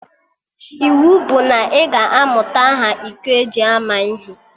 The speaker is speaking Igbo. Iwu bụ na ị ga-amụta aha iko eji ama ihe!